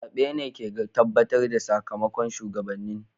Zabe ne ke tabbatar da sakamakon shugabannin.